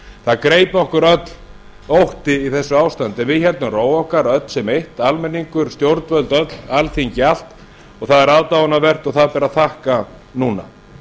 það greip okkur öll ótti í þessu ástandi en við héldum ró okkar öll sem eitt almenningur stjórnvöld öll alþingi allt og það er aðdáunarvert og það ber að þakka núna